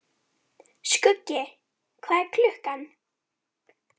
Skuggi, hvað er klukkan?